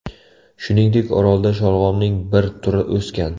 Shuningdek, orolda sholg‘omning bir turi o‘sgan.